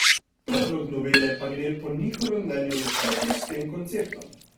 Predlog novele pa gre po njihovem mnenju v nasprotju s tem konceptom.